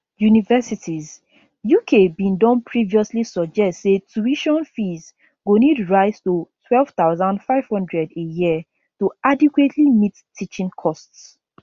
universities uk bin don previously suggest say tuition fees go need rise to 12500 a year to adequately meet teaching costs